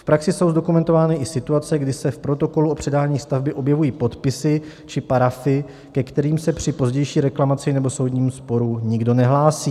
V praxi jsou zdokumentovány i situace, kdy se v protokolu o předání stavby objevují podpisy či parafy, ke kterým se při pozdější reklamaci nebo soudním sporu nikdo nehlásí.